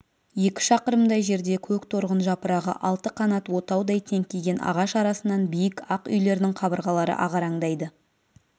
екі шақырымдай жерде көк торғын жапырағы алты қанат отаудай теңкиген ағаш арасынан биік ақ үйлердің қабырғалары ағараңдайды